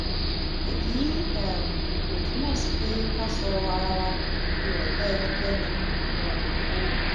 èyí um ò túmọ̀ sí pé ká sọ ara wa di ọ̀tá ẹnikẹ́ni um o